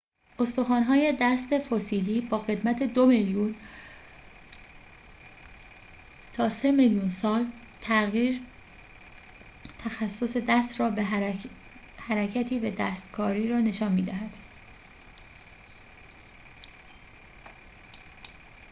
استخوان‌های دست فسیلی با قدمت دو میلیون تا سه میلیون سال تغییر تخصص دست را حرکتی به دستکاری را نشان می دهد